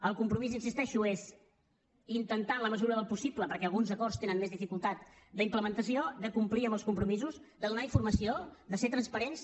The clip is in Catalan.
el compromís hi insisteixo és intentar en la mesura del possible perquè alguns acords tenen més dificultat d’implementació de complir amb els compromisos de donar informació de ser transparents